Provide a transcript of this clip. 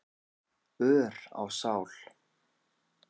ör á sál.